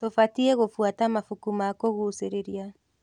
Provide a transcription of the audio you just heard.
Tũbatiĩ gũbuata mabuku ma kũgucĩrĩria.